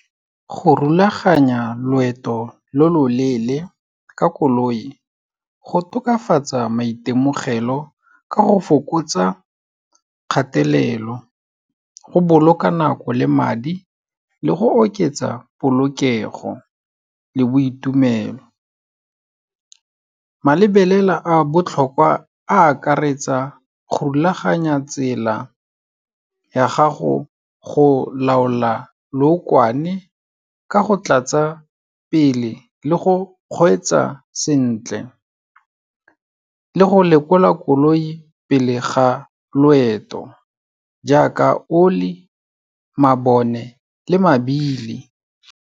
Go rulaganya loeto lo loleele ka koloi, go tokafatsa maitemogelo ka go fokotsa kgatelelo, go boloka nako le madi le go oketsa polokego le boitumelo. Malebelela a botlhokwa a akaretsa, go rulaganya tsela ya gago, go laola lookwane ka go tlatsa pele, le go kgweetsa sentle le go lekola koloi pele ga loeto, jaaka oli, mabone le mabili.